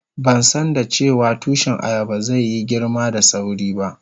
Ban san dace wa tushi ayaban zai yi girma da sawri ba.